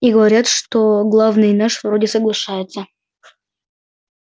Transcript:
и говорят что главный наш вроде соглашается